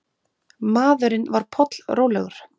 Maðurinn var pollrólegur.